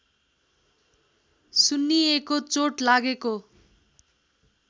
सुन्निएको चोट लागेको